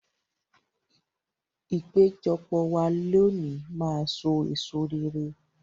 Ìpéjọpọ̀ wa lónìí máa so èso rere.